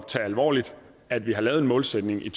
tage alvorligt at vi har lavet en målsætning i